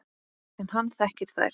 En hann þekkir þær.